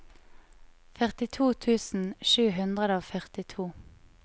førtito tusen sju hundre og førtito